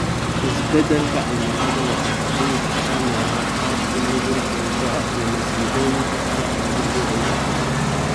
Isbeddelka cimiladu waxay ka dhigi kartaa meelaha qaar u nugul dhul go'a iyo masiibooyinka kale ee dabiiciga ah.